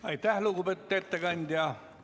Aitäh, lugupeetud ettekandja!